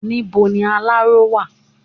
Níbo ni aláró wà?